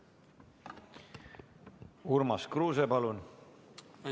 Urmas Kruuse, palun!